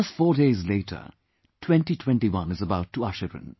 Just four days later, 2021 is about to usher in